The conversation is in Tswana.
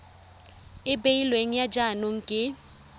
e beilweng ya jaanong ke